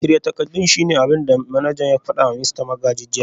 Shirya takardun shine abin da manajan ya fada wa Mista Magaji jiya